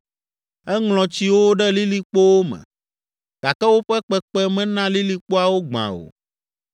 Eŋlɔ tsiwo ɖe lilikpowo me, gake woƒe kpekpe mena lilikpoawo gbã o.